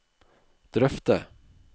drøfte